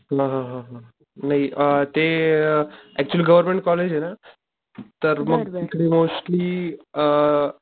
हा हा हा हा. नाही अ ते अ ऍक्च्युली गव्हर्मेंट कॉलेज ना, तर मग तिथं मोस्टली आ,